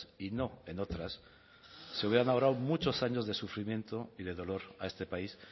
y no en otras se hubieran ahorrado muchos años de sufrimiento y de dolor a este país